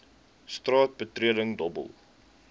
straat betreding dobbel